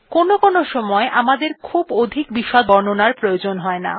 কোনো কোনো সময় আমাদের খুব অধিক বিশদ বর্ণনার প্রয়োজন থাকে না